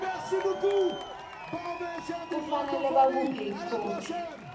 kufanele bakhuphe ikhophi